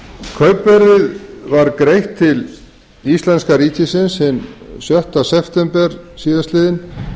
kaupverðið var greitt til íslenska ríkisins hinn sjötta september síðastliðinn